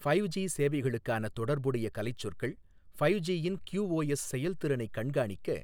five G சேவைகளுக்கான தொடர்புடைய கலைச்சொற்கள் ஃபைவ் ஜியின் கியூஓஎஸ் செயல்திறனைக் கண்காணிக்க